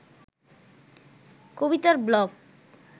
কবিতার ব্লগ